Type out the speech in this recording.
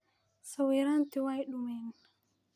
Sawiranti way dumeen.